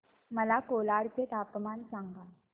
मला कोलाड चे तापमान सांगा